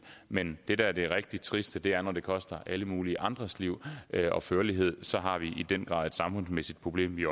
men det der er det rigtig triste er når det koster alle mulige andres liv og førlighed så har vi i den grad et samfundsmæssigt problem vi